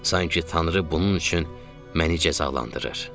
Sanki Tanrı bunun üçün məni cəzalandırır.